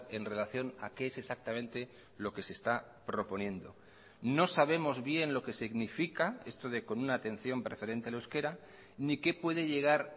en relación a qué es exactamente lo que se está proponiendo no sabemos bien lo que significa esto de con una atención preferente al euskera ni qué puede llegar